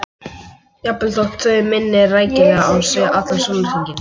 Jafnvel þótt þau minni rækilega á sig allan sólarhringinn.